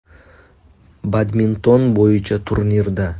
Badminton bo‘yicha turnirda.